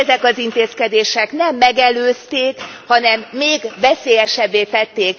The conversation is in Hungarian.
Mindezek az intézkedések nem megelőzték, hanem még veszélyesebbé tették...